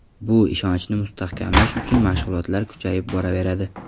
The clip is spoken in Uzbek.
Bu ishonchni mustahkamlash uchun mashg‘ulotlar kuchayib boraveradi.